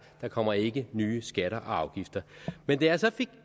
der kommer ikke nye skatter og afgifter men da jeg så fik